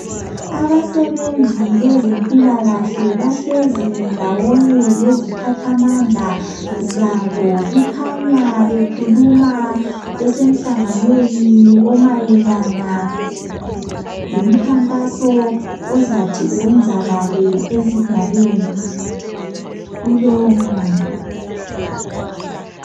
Abasebenzi bezempilakahle bahlezi ndawonye leziphathamandla zabo bekhanya bekhuluma besemhlanganweni omayelana lomkhankaso ozathi wenzakale esigabeni kulowo mnyaka.